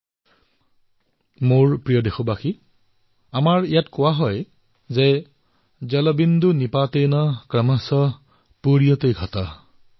মোৰ মৰমৰ দেশবাসীসকল আমাৰ ইয়াত কোৱা হয় জলবিন্দু নিপাতেল ক্ৰমশঃ পুৰ্যতে ঘটঃ